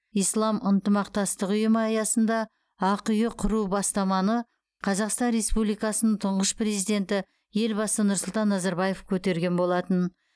ислам ынтымақтастығы ұйымы аясында ақиұ құру туралы бастаманы қазақстан республикасын тұңғыш президенті елбасы нұрсұлтан назарбаев көтерген болатын